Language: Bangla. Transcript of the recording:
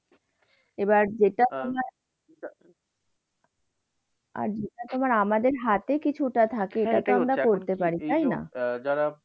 এবার যেটা তোমার, আর যেটা তোমার আমাদের হাতে কিছুটা থাকে, সেটাতো আমরা করতে পারি তাইনা?